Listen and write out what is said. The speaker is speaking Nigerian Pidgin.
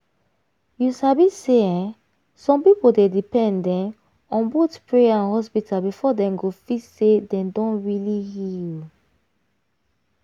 you sabi say um some people dey depend um on both prayer and hospital before dem go feel say dem don really heal.